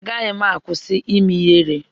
Agaghị m akwụsị ime ihere.